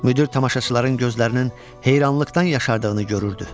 Müdir tamaşaçıların gözlərinin heyrarlıqdan yaşardığını görürdü.